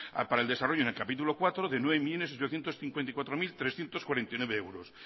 para el desarrollo en el capítulo cuarto de nueve millónes ochocientos cincuenta y cuatro mil trescientos cuarenta y nueve euros